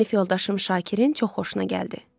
Sinif yoldaşım Şakirin çox xoşuna gəldi.